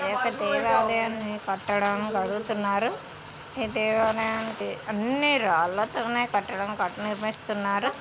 ఈ దేవాలయం కట్టడంను కడుగుతున్నారు. ఈ దేవాలయాని అన్ని రాల్లతోనే కట్టడం నిర్మిస్తున్నారు.